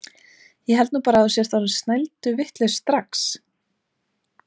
Ég held nú bara að þú sért orðinn snælduvitlaus strax!